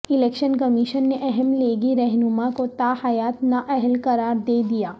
election commission نے اہم لیگی رہنما کو تاحیات نااہل قرار دے دیا